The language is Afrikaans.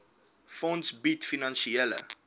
fonds bied finansiële